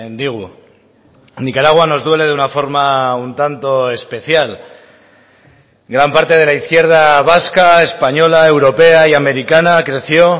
digu nicaragua nos duele de una forma un tanto especial gran parte de la izquierda vasca española europea y americana creció